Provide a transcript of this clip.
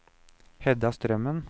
Hedda Strømmen